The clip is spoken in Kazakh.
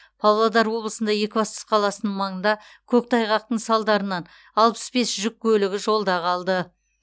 павлодар облысында екібастұз қаласының маңында көктайғақтың салдарынан алпыс бес жүк көлігі жолда қалды